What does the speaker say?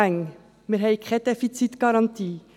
Wir haben keine Defizitgarantie.